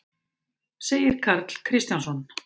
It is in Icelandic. segir Karl Kristjánsson.